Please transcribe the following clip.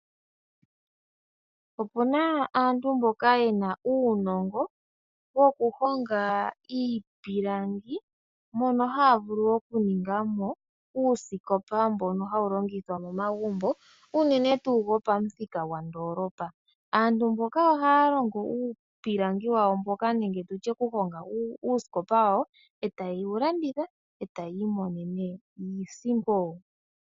Opuna aantu mboka yena uunongo woku honga iipilangi mono haa vulu okuningamo uusikopa mbono hawu longithwa momagumbo uunene tuu gwopamuthika gwa ndoolopa aantu mboka ohaa longo uupilangi wawo mboka nenge nditye okuhonga uusikopa wawo eta yewu landitha etayi imonene iisimpo.